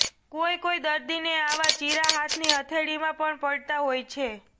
કોઈ કોઈ દર્દીને આવા ચીરા હાથની હથેળીમાં પણ પડતા હોય છે